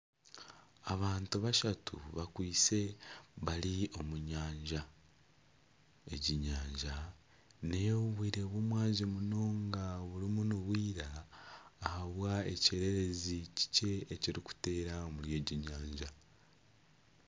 Abantu bashatu bakwaitse bari omu nyanja egi enyanja neyobwire bw'omwazyo munonga burimu nibwira ahabwa ekyererezi kikye ekirikuteera omuri egi nyanja .